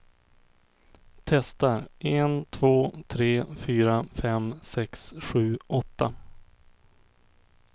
Testar en två tre fyra fem sex sju åtta.